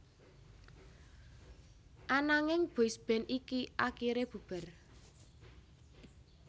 Ananging boysband iki akiré bubar